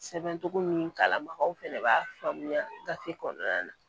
Sɛbɛn cogo min kalanbagaw fɛnɛ b'a faamuya gafe kɔnɔna na